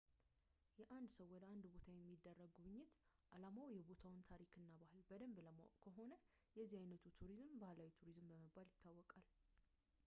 የአንድ ሰው ወደ አንድ ቦታ የሚደረግ ጉብኝት ዓላማው የቦታውን ታሪክ እና ባህል በደንብ ለማወቅ ከሆነ የዚህ ዓይነቱ ቱሪዝም ባህላዊ ቱሪዝም በመባል ይታወቃል